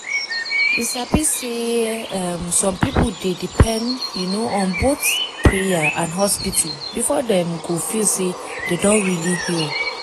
you sabi say um some people dey depend um on both prayer and hospital before dem go feel say dem don really heal.